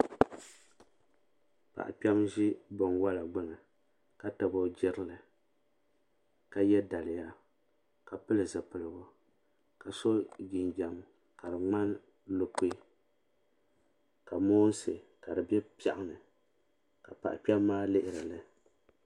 Paɣa kpema n ʒi binwola gbini ka tabi o jirili ka ye daliya ka pili zipilgu ka so jinjiɛm ka di ŋmani lukui ka moonsi ka di be piaɣuni ka paɣa kpema maa lihiri li.